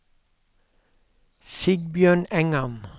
Sigbjørn Engan